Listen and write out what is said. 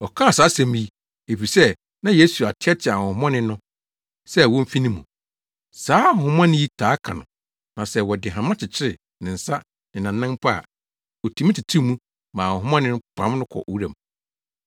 Ɔkaa saa asɛm yi, efisɛ na Yesu ateɛteɛ ahonhommɔne no sɛ womfi ne mu. Saa ahonhommɔne yi taa ka no na sɛ wɔde hama kyekyere ne nsa ne nʼanan mpo a, otumi tetew mu ma ahonhommɔne no pam no kɔ wuram.